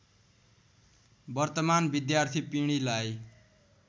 वर्तमान विद्यार्थी पिँढीलाई